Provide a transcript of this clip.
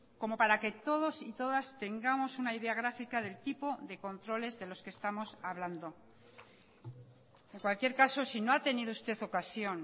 como para que todos y todas tengamos una idea grafica del tipo de controles de los que estamos hablando en cualquier caso si no ha tenido usted ocasión